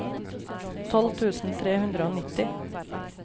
tolv tusen tre hundre og nitti